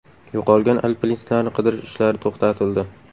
Yo‘qolgan alpinistlarni qidirish ishlari to‘xtatildi.